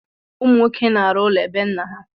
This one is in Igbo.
Ụmụ nwoke na-arụ ụlọ bé nna ya.